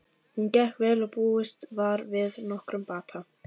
Hún gekk vel og búist var við nokkrum bata.